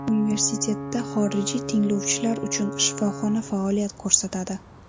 Universitetda xorijiy tinglovchilar uchun shifoxona faoliyat ko‘rsatadi.